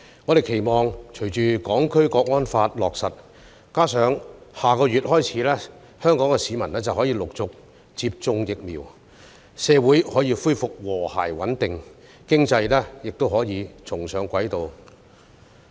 我們期望隨着《香港國安法》落實，並自下月起，本港市民可陸續接種疫苗，社會可恢復和諧穩定，經濟亦能重上軌道。